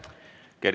Aitäh!